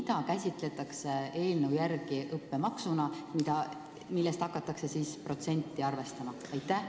Mida käsitletakse eelnõu järgi õppemaksuna, millest hakatakse seda protsenti arvestama?